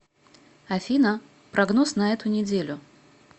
афина прогноз на эту неделю